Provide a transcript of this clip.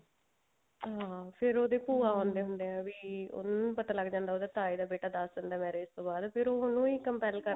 ਹਾਂ ਫ਼ੇਰ ਉਹਦੇ ਭੂਆ ਆਉਂਦੇ ਹੁੰਦੇ ਆ ਵੀ ਉਹਨਾਂ ਨੂੰ ਪਤਾ ਲੱਗ ਜਾਂਦਾ ਉਹਦਾ ਤਾਏ ਦਾ ਬੇਟਾ ਦੱਸ ਦਿੰਦਾ marriage ਤੋਂ ਬਾਅਦ ਫ਼ੇਰ ਉਹਨੂੰ ਹੀ